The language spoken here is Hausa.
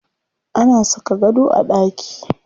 Ana saka gado a ɗaki.